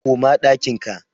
koma ɗakin ka!